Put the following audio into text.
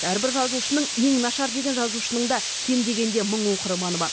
әрбір жазушының ең нашар деген жазушының да кем дегенде мың оқырманы бар